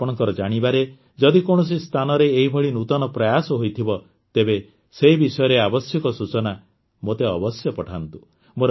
ଆପଣଙ୍କ ଜାଣିବାରେ ଯଦି କୌଣସି ସ୍ଥାନରେ ଏହିଭଳି ନୂତନ ପ୍ରୟାସ ହୋଇଥିବ ତେବେସେ ବିଷୟରେ ଆବଶ୍ୟକ ସୂଚନା ମୋତେ ଅବଶ୍ୟ ପଠାନ୍ତୁ